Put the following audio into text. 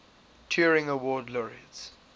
turing award laureates